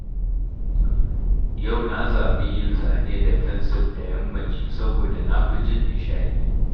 Yau na zaɓi yin zane da fensir da yammaci saboda na fi jin nishaɗi